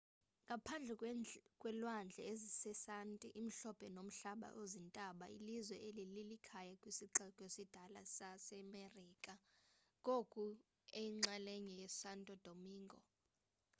ngaphandle kwelwandle ezisanti imhlophe nomhlaba ozintaba ilizwe eli lilikhaya kwisixeko esidala samamerika ngoku eyinxalenye yesanto domingo